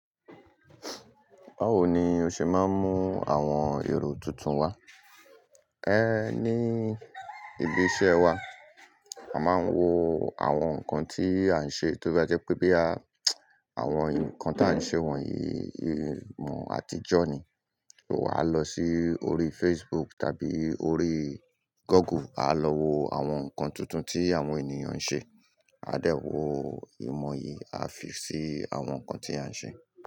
Báwo ni o ṣe máa ń mú àwọn èrò tuntun wá? É ní ibi iṣẹ́ wa, a máa ń wo àwọn nǹkan tí à ń ṣe, tó bá jẹ́ pé boya àwọn nǹkan tí à ń ṣe wọ̀nyí, ìmọ̀ àtijọ́ ni, ò wa lọ sí orí Facebook tàbí orí Google, a lọ wo àwọn nǹkan tuntun tí àwọn ènìyàn ń ṣe. A dẹ̀ wo ìmọ̀ yìí, a fi sí àwọn nǹkan tí à ń ṣe.